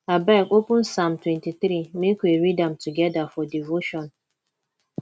abeg open psalm 23 make we read am together for devotion